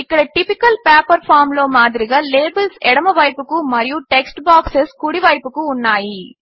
ఇక్కడ typical paper form లో మాదిరిగా లేబిల్స్ ఎడమవైపుకు మరియు టెక్స్ట్ బాక్సెస్ కుడివైపుకు ఉన్నాయి